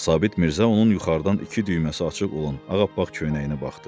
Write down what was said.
Sabit Mirzə onun yuxarıdan iki düyməsi açıq olan ağappaq köynəyinə baxdı.